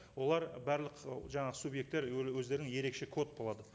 олар барлық жаңағы субъекттер өздерінің ерекше код болады